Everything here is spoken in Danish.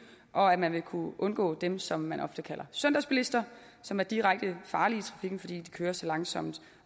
og at man ville kunne undgå dem som man ofte kalder søndagsbilister som er direkte farlige i trafikken fordi de kører så langsomt